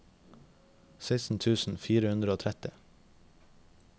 seksten tusen fire hundre og tretti